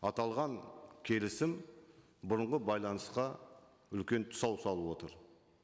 аталған келісім бұрынғы байланысқа үлкен тұсау салып отыр